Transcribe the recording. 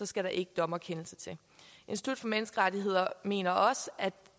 skal en dommerkendelse til institut for menneskerettigheder mener også at